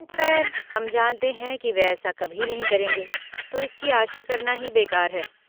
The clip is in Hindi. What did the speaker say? खैर, हम जानते हैं कि वे ऐसा कभी नहीं करेंगे, तो इसकी आशा करना ही बेकार है।